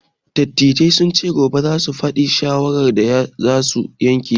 Dattijai sun ce gobe za su faɗi shawarar da su ka yanke.